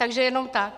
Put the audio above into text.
Takže jenom tak.